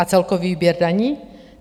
A celkový výběr daní?